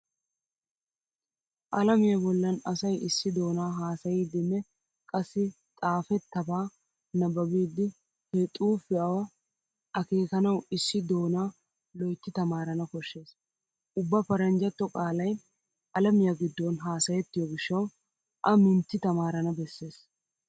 Alamiya bollan asay issi doonaa haasayidinne qassi xaafettaba nabbibidi he xuufiua akeekanawu issi doonaa loytti tamaarana koshshees. Ubba paranjjatto qaalay alamiya giddon haasayettiyo gishshawu a minnti tamaarana bessees.